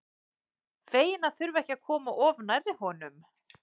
Fegin að þurfa ekki að koma of nærri honum.